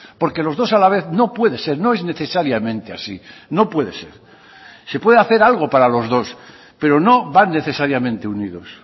porque los dos a la vez no puede ser no es necesariamente así no puede ser se puede hacer algo para los dos pero no van necesariamente unidos